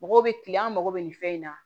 Mɔgɔw bɛ kilen an mago bɛ nin fɛn in na